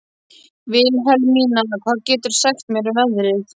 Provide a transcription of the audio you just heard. Vilhelmína, hvað geturðu sagt mér um veðrið?